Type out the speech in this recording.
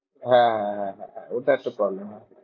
হ্যাঁ হ্যাঁ হ্যাঁ হ্যাঁ হ্যাঁ ওটা একটা problem হ্যাঁ